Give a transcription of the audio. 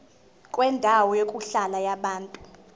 kwendawo yokuhlala yabantu